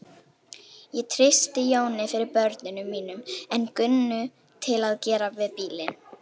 Ég treysti Jóni fyrir börnunum mínum en Gunnu til að gera við bílinn.